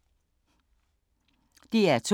DR2